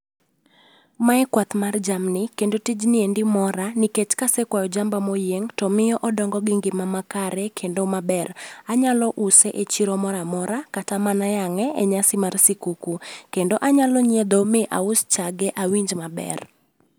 Mae kwath mar jamni, kendo tijni endi mora nikech kasekwayo jamba moyieng' to miyo odongo gi ngima ma kare kendo maber. Anyalo use e chiro mora amora kata mana yang'e e nyasi mar sikuku, kendo anyalo nyiedho mi aus chage awinj maber